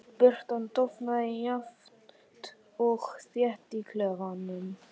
Birtan dofnaði jafnt og þétt í klefanum.